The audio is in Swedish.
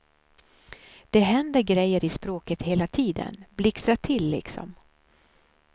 Det händer grejer i språket hela tiden, blixtrar till liksom.